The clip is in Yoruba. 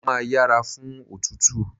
Mo máa yẹra fún òtútù.